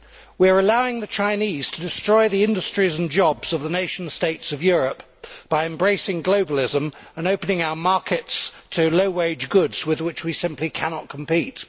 We are allowing the Chinese to destroy the industries and jobs of the nation states of Europe by embracing globalism and opening our markets to low wage goods with which we simply cannot compete.